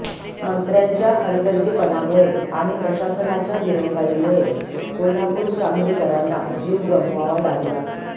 मंत्र्यांच्या हलगर्जीपणामुळे आणि प्रशासनाच्या दिरंगाईमुळे कोल्हापूर सांगली करांना जीव गमवावा लागला